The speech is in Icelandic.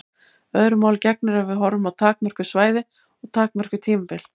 Öðru máli gegnir ef við horfum á takmörkuð svæði og takmörkuð tímabil.